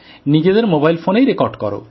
নিজেদের মোবাইল ফোনেই রেকর্ড করো